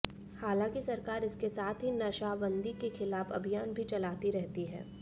हालांकि सरकार इसके साथ ही नशाबंदी के खिलाफ अभियान भी चलाती रहती है